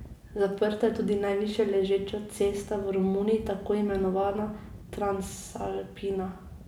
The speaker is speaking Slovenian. Zaprta je tudi najvišjeležeča cesta v Romuniji, tako imenovana Transalpina.